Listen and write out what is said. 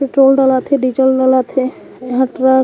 petrol डलात हे diesel डलात हे इहा ट्रक --